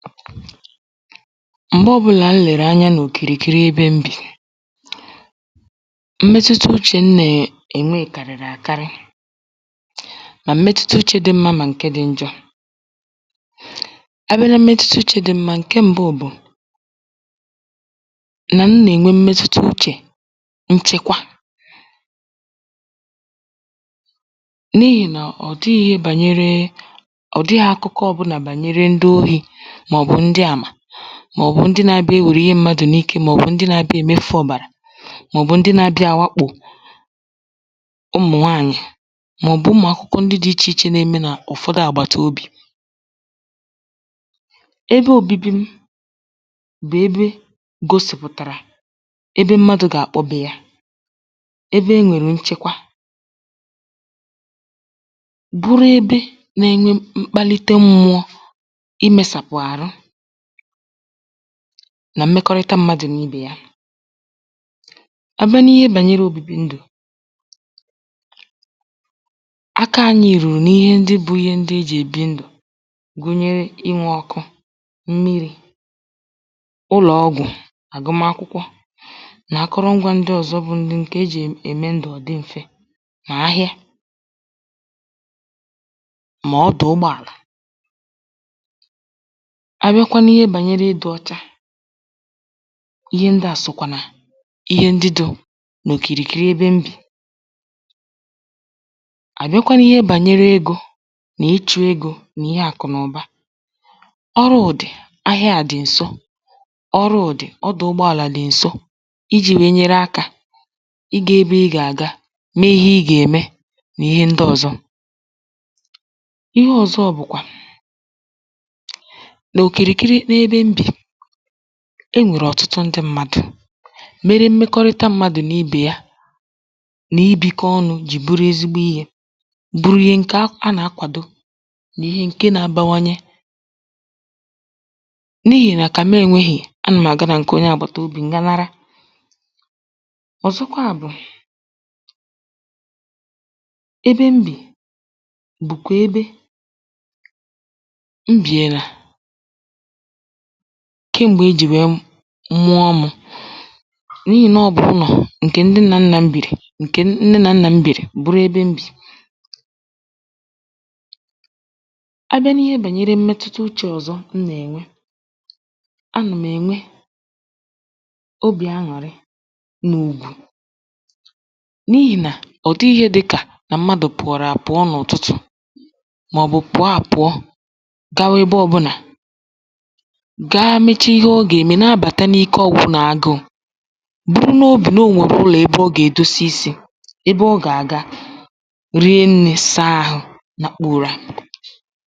m̀gbe ọ̄bụ̄là m lèrè anya n’òkìrìkiri ebe m bì mmetuta uchè m nà-ènwe kàrị̀rị̀ àkarị mà mmetuta uchē dị mmā mà ǹke dị̄ njọ̄ abịa na mmetuta uchē dị mmā ǹke m̄bụ̄ bụ̀ nà m nà-ènwe mmetuta uchè nchekwa n’ihì nà ọ̀dịghị̄ ihe gbànyere ọ̀dịghị̄ akụkọ ọ̄bụ̄là gbànyere ndị ohī màọ̀bụ̀ ndị àmà màọ̀bụ̀ ndị nā-ābịā enwère ihe mmadụ̀ n’ike màọ̀bụ̀ ndị nā-ābịā èmefū ọ̀bàrà màọ̀bụ̀ ndị nā-ābịā àwakpò ụmụ̀ nwaànyị̀ màọ̀bụ̀ ụmụ̀ akụkọ ndị dị̄ ichè ichè na-eme n’ụ̀fọdụ àgbàtobì ebe ōbībī m̄ bụ̀ ebe gōsìpụ̀tàrà ebe mmadụ̄ gà-àkpọ beē yā ebe enwèrè nchekwa bụrụ ebe nā-ēnyē mkpalite mmụọ̄ imēsàpụ̀ àrụ nà mmekọrịta m̄mādụ̀ nà ibè ya abịa n’ihe gbànyere òbibi ndụ̀ aka ānyị̄ rùrù n’ihe ndị bụ̄ ihe ndị ejì èbi ndụ̀ gụnyere inwē ọ̄kụ̄, mmirī ụlọ̀ ọgwụ̀ àgụmakwụkwọ nà akwụrụngwā ndị ọ̀zọ bụ ndị ǹkè ejì ème ndụ̀ ọ̀ dị m̄fē mà ahịa mà ọdụ̀ ụgbọ àlà abịakwa n’ihe gbànyere ịdị̄ ọ̄chā ihe ndị à sòkwà nà ihe ndị dị̄ n’òkìrìkiri ebe m bì àbịakwa n’ihe gbànyere egō na-ịchụ̄ egō mà ihe àkụ̀ nà ụ̀ba ọrụụ̀ dị̀ ahịa dị̀ ǹso ọrụụ̀ dị̀ ọdụ̀ ụgbọ àlà dị̀ ǹso ijī nwèe nyere akā ịgā ebe ị gà-àga mee ihe ị gà-ème nà ihe ndị ọ̄zọ̄ ihe ọ̄zọ̄ bụ̀kwà n’òkìrìkiri n’ebe m bì enwèrè ọ̀tụtụ ndị m̄mādụ̀ mere mmekọrịta m̄mādụ̀ nà ibè ya nà ibīkọ̄ ọnụ̄ jì bụrụ ezigbo ihē bụrụ ihe ǹke a na-akwàdo nà ihe ǹke nā-ābāwānyē n’ihì nà kà m enwēghīì anà m̀ àga nà ǹkè onye àgbàtòbì m ga nara ọ̀zọkwa bụ̀ ebe m bì bụ̀kwà ebe m bièlà ka m̀gbè ejì nwèe mụọ mụ̄ n’ihì nà ọ bụ̀ ụnọ̀ ǹkè ndị nnànnà m bìrì ǹkè nne nà nnà m bìrì bụrụ ebe m̀ bì abịa n’ihe gbànyere mmetuta uchē ọ̀zọ m nà-ènwe anà m̀ ènwe obì añụ̀rị nà ùgwù n’ihì nà ọ̀ dịghị̄ ihe dị̄kà nà mmadụ̀ pụ̀wàrà àpụ n’ụ̀tụtụ̀ màọ̀bụ̀ pụ̀ọ àpụọ gawa ebe ọ̄bụ̄nà ga meche ihe ọ gà-ème na-abàta n’ike ọ̀gụgụ nà agụụ̄ buru n’obì nà o nwèrè ụlọ̀ ebe ọ gà-èdosa isī ya ebe ọ gà-àga rie nnī saa āhụ̄ nakpuo ụrā